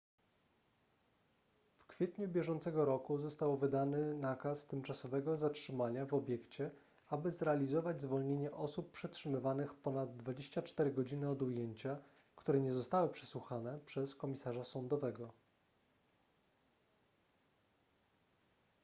w kwietniu bieżącego roku został wydany nakaz tymczasowego zatrzymania w obiekcie aby zrealizować zwolnienie osób przetrzymywanych ponad 24 godziny od ujęcia które nie zostały przesłuchane przez komisarza sądowego